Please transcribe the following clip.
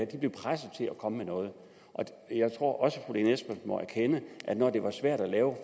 de blev presset til at komme med noget jeg tror også at lene espersen må erkende at når det var svært at lave